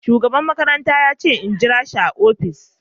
shugaban makaranta yace in jirashi a opishin.